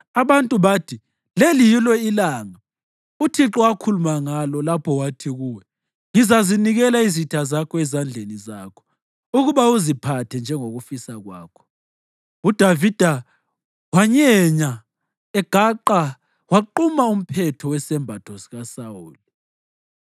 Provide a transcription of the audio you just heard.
Abantu bathi, “Leli yilo ilanga uThixo akhuluma ngalo lapho wathi kuwe, ‘Ngizanikela izitha zakho ezandleni zakho ukuba uziphathe njengokufisa kwakho.’ ” UDavida wanyenya egaqa waquma umphetho wesembatho sikaSawuli.